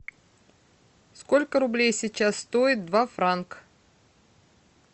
сколько рублей сейчас стоит два франка